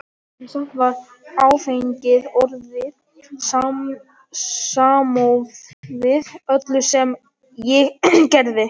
Samt var áfengið orðið samofið öllu sem ég gerði.